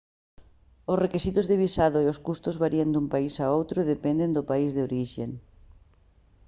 os requisitos de visado e os custos varían dun país a outro e dependen do país de orixe